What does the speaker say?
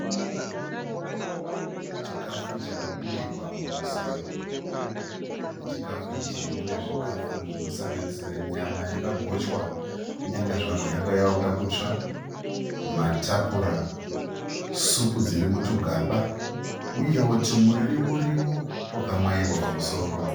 Chikafu chakaburirwa murusero, muchikafu ichi mune zvikafu zvinosanganisira nyama yakagochwa kunyangwe zvazvo yange yavekuda kutsva, matapura, supu dziri mutugaba uyewo tumuriwo riwo twaka mwaiwa pamusoro.